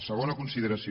segona consideració